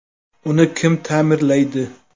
Uni kim ta’mirlaydi?.